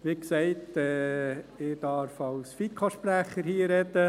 Wie gesagt, darf ich hier als FiKo-Sprecher reden.